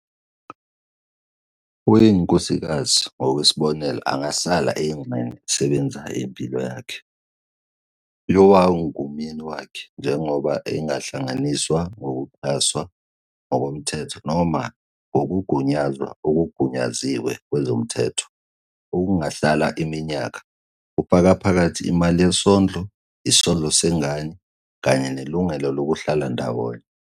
"Owayengunkosikazi", ngokwesibonelo, angahlala eyingxenye esebenzayo yempilo yakhe "yowayengumyeni" wakhe, njengoba engahlanganiswa ngokuxhaswa ngokomthetho noma ngokugunyazwa okungagunyaziwe kwezomnotho, okungahlala iminyaka, kufaka phakathi imali yesondlo, isondlo sengane, kanye nelungelo lokuhlala ndawonye.